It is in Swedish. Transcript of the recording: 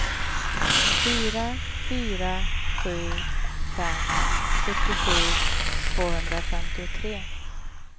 fyra fyra sju fem sjuttiosju tvåhundrafemtiotre